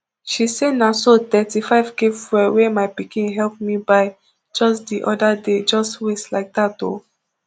she say na so thirty-fivek fuel wey my pikin help me buy just di oda day just waste like dat o